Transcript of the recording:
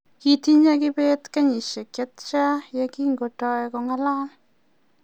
ki tinye kibet kenyishek che tia ye kingotoi ko ng'alal